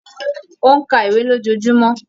Ó ń ka ìwé lójoojúmọ́